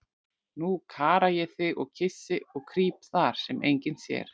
Nú kara ég þig og kyssi og krýp þar, sem enginn sér.